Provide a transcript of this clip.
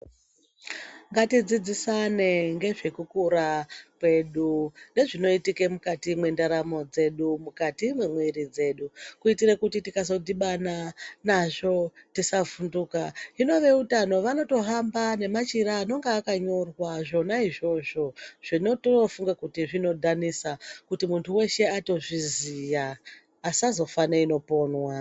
Ngatidzidzisane ngezvekukura kwedu ngezvinoitike mukati mwendaramo dzedu mukati mwemwiri dzedu kuitire kuti tikazodhibana nazvo tisavhunduka hino veutano vanotohamba nemachira anonga akanyorwa zvona izvozvo zvinotofunga kuti zvinodhanisa kuti muntu weshe atozviziya asazofa neinoponwa.